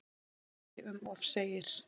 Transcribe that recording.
Þó ekki um of segir